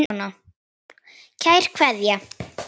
Kær Kveðja.